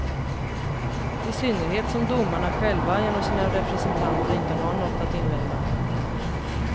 I synnerhet som domarna själva genom sina representanter inte har något att invända.